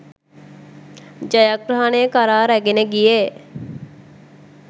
ජයග්‍රහණය කරා රැගෙන ගියේ